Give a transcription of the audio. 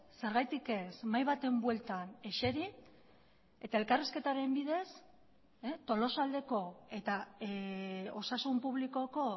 zergatik ez mahai baten bueltan eseri eta elkarrizketaren bidez tolosaldeko eta osasun publikoko